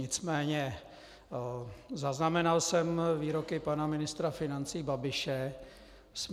Nicméně zaznamenal jsem výroky pana ministra financí Babiše směrem...